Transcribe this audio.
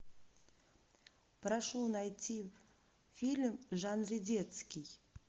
прошу найти фильм в жанре детский